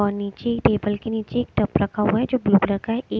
और नीचे टेबल के नीचे एक टप रखा हुआ है जो ब्लू कलर का है एक ।